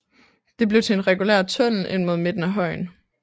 Det blev til en regulær tunnel ind mod midten af højen